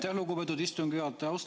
Aitäh, lugupeetud istungi juhataja!